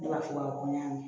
Ne b'a fɔ ko n y'a mɛn